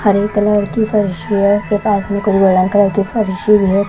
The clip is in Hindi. हरे कलर की फर्शी है एक आदमी बड़ा करके फर्शी है।